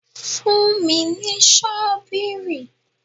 Fún mi ní ṣọ́bìrì!